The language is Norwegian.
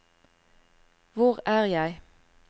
hvor er jeg